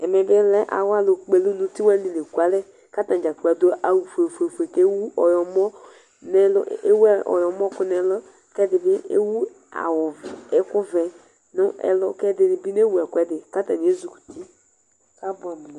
Amɛ alʋ kpɔ elʋ nʋ uti lekʋalɛ kʋ atadza kplo adʋ awʋfue fue dza kʋ ewʋ ɔyɔmɔkʋ nʋ ɛlʋkʋ ɛdibi ewʋ awʋ ɛkʋvɛ nʋ ɛlʋ kʋ ɛdini bi newʋ ekʋɛdi kʋ atani bi ezikʋti kʋ abʋɛamʋ